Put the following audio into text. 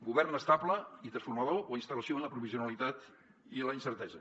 govern estable i transformador o instal·lació en la provisionalitat i la incertesa